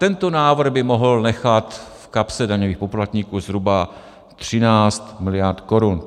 Tento návrh by mohl nechat v kapse daňových poplatníků zhruba 13 miliard korun.